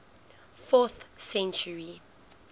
fourth century